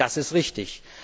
Das ist richtig.